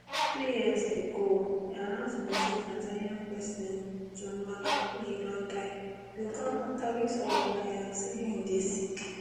three years ago di announcement say tanzania president john magufuli don die bin come afta weeks of denial say im dey sick